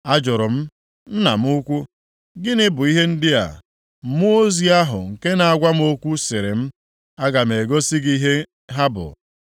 Ajụrụ m, “Nna m ukwu, gịnị bụ ihe ndị a?” Mmụọ ozi ahụ nke na-agwa m okwu sịrị m, “Aga m egosi gị ihe ha bụ.”